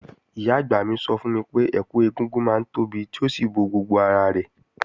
Ìyá-àgbà mi sọ fún mi pé, ẹkù ẹ̀gúngún máa ń tóbi tí ó sì bo gbogbo ara rẹ̀.